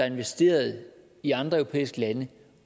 investeret i andre europæiske lande